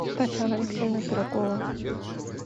татьяна алексеевна пирогова